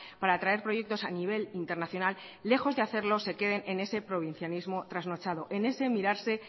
para traer proyectos a nivel internacional lejos de hacerlo se queden en ese provincianismo trasnochado en ese mirarse